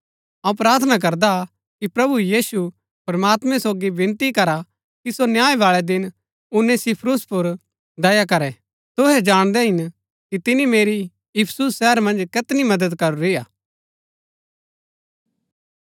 अऊँ प्रार्थना करदा कि प्रभु यीशु प्रमात्मैं सोगी विनती करा कि सो न्याय बाळै दिन उनेसिफुरूस पुर दया करै तुहै जाणदै हिन कि तिनी मेरी इफिसुस शहर मन्ज कैतनी मदद करूरी हा